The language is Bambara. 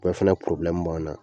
Bɛɛ fɛnɛ porobilɛmu b'an na